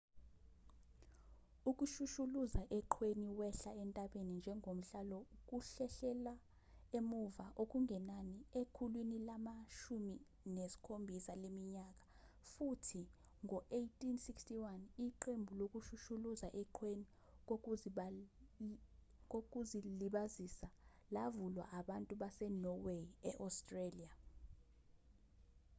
ukushushuluza eqhweni wehla entabeni njengomhlalo kuhlehlela emuva okungenani ekhulwini lama-17 leminyaka futhi ngo-1861 iqembu lokushushuluza eqhweni kokuzilibazisa lavulwa abantu basenorway e-australia